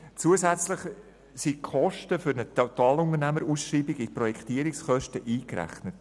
Zusätzlich sind die Kosten für die Totalunternehmerausschreibung in den Projektierungskosten eingerechnet.